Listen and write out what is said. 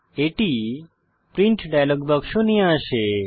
এটি print dialogue বাক্স নিয়ে আসে